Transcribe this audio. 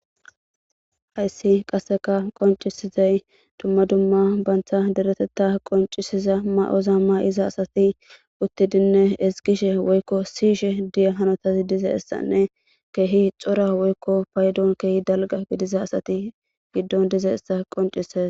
Hyssi qasseka qoncisizay dumma dumma bantha deretetta qoncisiza ma7oza maiza asati uttidinne esgishe woykko siishe diya hanotazi dize issanne keehi xora woykko paydon keehi dalga gidiza asati giddon dize essa qoncises.